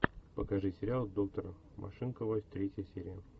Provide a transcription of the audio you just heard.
покажи сериал доктор машинкова третья серия